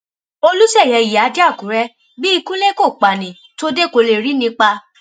olùṣeyẹ ìyíádẹ àkùrẹ bí ikú ilé kò pa ní tòde kó lè rí ni pa